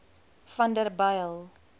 vanderbijl